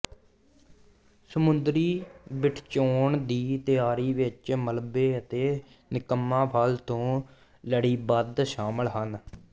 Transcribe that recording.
ਸਮੁੰਦਰੀ ਬਿੱਠਚੌਨ ਦੀ ਤਿਆਰੀ ਵਿੱਚ ਮਲਬੇ ਅਤੇ ਨਿਕੰਮਾ ਫਲ ਤੋਂ ਲੜੀਬੱਧ ਸ਼ਾਮਲ ਹਨ